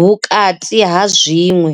vhukati ha zwiṅwe.